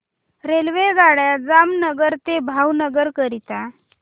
रेल्वेगाड्या जामनगर ते भावनगर करीता